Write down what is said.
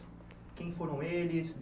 Quem foram eles?